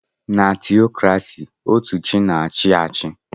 Na tiokrasi otú chi na-achị achị.